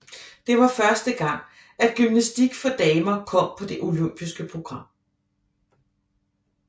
Det var første gang at gymnastik for damer kom på det olympiske program